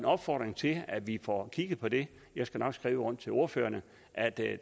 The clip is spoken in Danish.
opfordre til at vi får kigget på det jeg skal nok skrive rundt til ordførerne at det